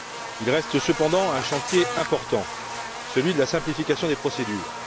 Il reste cependant un chantier important celui de la simplification des procédures.